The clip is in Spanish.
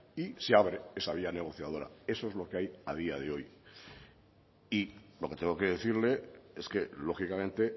y se abre esa vía negociadora eso es lo que hay a día de hoy y lo que tengo que decirle es que lógicamente